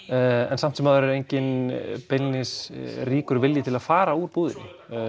en samt sem áður er enginn beinlínis ríkur vilji til að fara úr búðinni